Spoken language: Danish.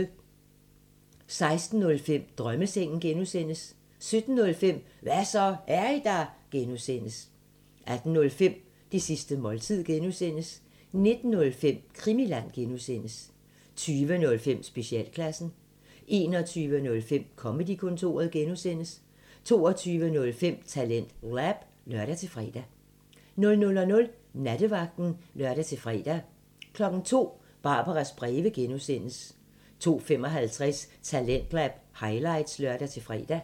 16:05: Drømmesengen (G) 17:05: Hva' så, er I der? (G) 18:05: Det sidste måltid (G) 19:05: Krimiland (G) 20:05: Specialklassen 21:05: Comedy-kontoret (G) 22:05: TalentLab (lør-fre) 00:00: Nattevagten (lør-fre) 02:00: Barbaras breve (G) 02:55: Talentlab highlights (lør-fre)